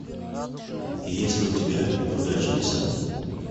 есть ли у тебя неудачница